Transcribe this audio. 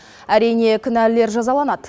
әрине кінәлілер жазаланады